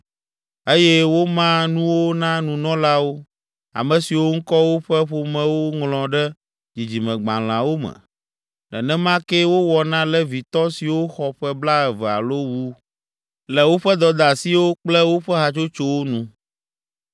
Eye woma nuwo na nunɔlawo, ame siwo ŋkɔ woƒe ƒomewo ŋlɔ ɖe dzidzimegbalẽawo me. Nenema kee wowɔ na Levitɔ siwo xɔ ƒe blaeve alo wu, le woƒe dɔdeasiwo kple woƒe hatsotsowo nu.